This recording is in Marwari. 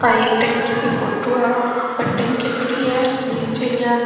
एक पानी की टंकी की फोटो है ऊपर टंकी पड़ी है नीचे --